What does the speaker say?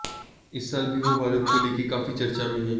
इस साल भी वो भारत को लेकर काफी चर्चा में हैं